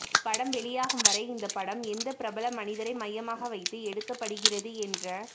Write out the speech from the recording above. படம் வெளியாகும் வரை இந்த படம் எந்த பிரபல மனிதரை மையமாக வைத்து எடுக்கப்படுகிறது என்ற